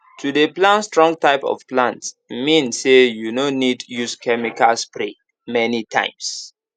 to dey plan strong type of plants mean say you no need use chemical spray many times